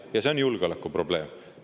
Ja see on julgeolekuprobleem.